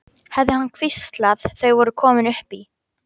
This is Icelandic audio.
hafði hann hvíslað þegar þau voru komin upp í.